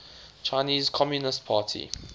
chinese communist party